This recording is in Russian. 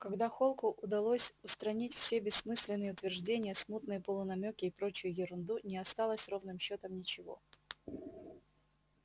когда холку удалось устранить все бессмысленные утверждения смутные полунамёки и прочую ерунду не осталось ровным счётом ничего